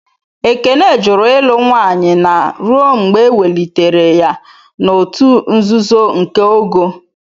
Ekene jụrụ ịlụ nwanye na ruo mgbe ewelitere ya n'òtù nzuzo nke ogo..